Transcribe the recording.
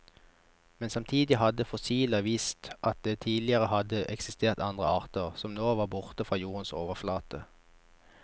Men samtidig hadde fossiler vist at det tidligere hadde eksistert andre arter, som nå var borte fra jordens overflate.